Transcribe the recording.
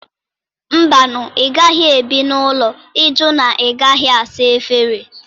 Mba nụ! ị gaghị ebi n'ụlọ ịjụ na ị gaghị asa efere